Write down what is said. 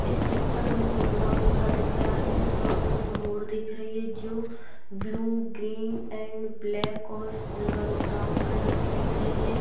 इस चित्र मे जो ग्राउन्ड सा दिख रह है उस ग्राउन्ड मे मोर दिख रही है जो ब्लू ग्रीन एण्ड ब्लैक और सिल्वर ब्राउन कलर की दिख रही है।